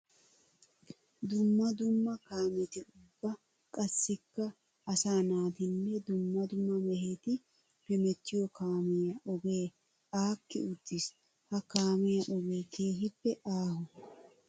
Dumma dumma kaametti ubba qassikka asaa naatinne dumma dumma mehetti hemettiyo kaamiya ogee aakki uttiis. Ha kaamiya ogee keehippe aaho.